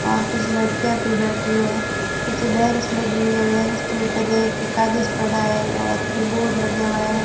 और कुछ लड़कियां भी बैठी हैं पीछे बेंच लगी हुईं हैं बेंच के ऊपर एक कागज पड़ा है और कीबोर्ड लगा हुआ है।